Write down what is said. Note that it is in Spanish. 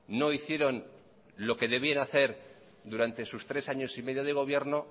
no hicieron lo que debían hacer durante sus tres años y medio de gobierno